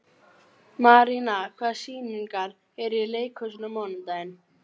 Maríana, hvaða sýningar eru í leikhúsinu á mánudaginn?